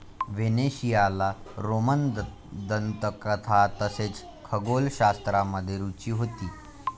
व्हेनेशियाला Roman दंतकथा तसेच खगोलशास्त्रामध्ये रुची होती ।